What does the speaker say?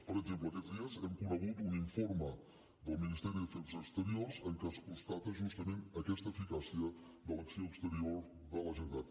per exemple aquests dies hem conegut un informe del ministeri d’afers exteriors en què es constata justament aquesta eficàcia de l’acció exterior de la generalitat